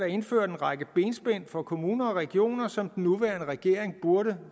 indført en række benspænd for kommuner og regioner som den nuværende regering burde